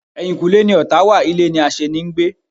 Eyinkule ni ọ̀tá wa, ilé ni aseni ń gbé